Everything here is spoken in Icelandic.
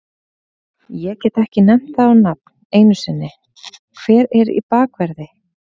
Ég get ekki nefnt það á nafn einu sinni, hver er í bakverði?